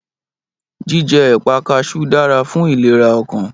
Jíjẹ́ èpà kaṣú dára fún ìlera ọkàn